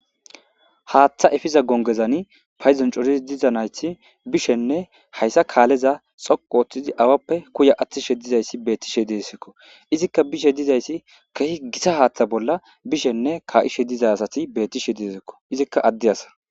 haaththa efiza gongezani payzon coris diza nayti bishenne hayssa kaaleza xoqu ooththizi awappe kuya athtishe dizayssi bettishe deesikko izikka bishe dizayssi keehi gita haaththa bolla bishenne ka7ishe diza asati bettishe diesikko izikka adde asa